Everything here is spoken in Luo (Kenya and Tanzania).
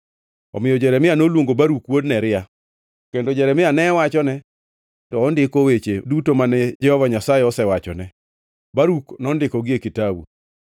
Omiyo Jeremia noluongo Baruk wuod Neria, kendo Jeremia ne wachone to ondiko weche duto mane Jehova Nyasaye osewachone, Baruk nondikogi e kitabu.